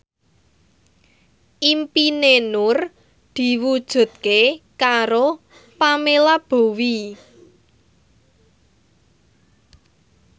impine Nur diwujudke karo Pamela Bowie